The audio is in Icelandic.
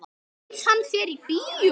Bauð hann þér í bíó?